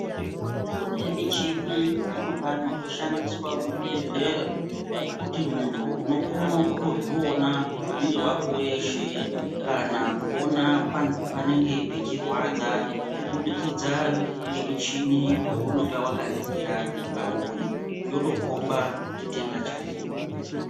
Kune michini zvino pano yoshandiswa muzvibhedhlera yekuti muntu unokono kutozviona mwiiri wako weshe. Kana kuona panenga pechirwadza kubudikidza ngemichini younenga wakaningira pauri, yotokomba chitenda chako.